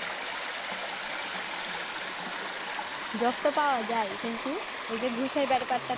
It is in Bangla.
job তো পাওয়া যায় কিন্তু ওই যে ঘুষের দরকার টা